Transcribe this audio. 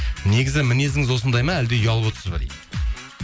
негізі мінезіңіз осындай ма әлде ұялып отырсыз ба дейді